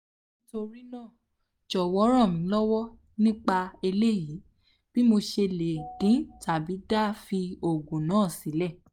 nitorina jowo ranmilowo nipa eleyi bi mo se le din tabi da fi ogun na sile